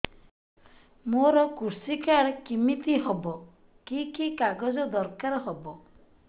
ମୋର କୃଷି କାର୍ଡ କିମିତି ହବ କି କି କାଗଜ ଦରକାର ହବ